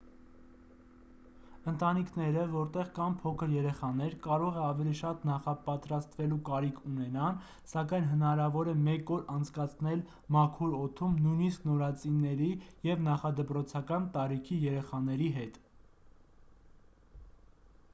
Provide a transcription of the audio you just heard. ընտանիքները որտեղ կան փոքր երեխաներ կարող է ավելի շատ նախապատրաստվելու կարիք ունենան սակայն հնարավոր է մեկ օր անցկացնել մաքուր օդում նույնիսկ նորածինների և նախադպրոցական տարիքի երեխաների հետ